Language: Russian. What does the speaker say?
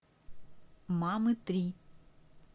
мамы три